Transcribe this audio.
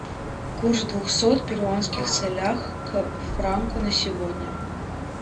курс двухсот перуанских солях к франку на сегодня